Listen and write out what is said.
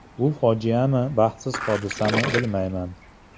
Bu fojiami, baxtsiz hodisami bilmayman.